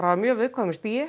á mjög viðkvæmu stigi